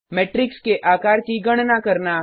matrix के आकार की गणना करना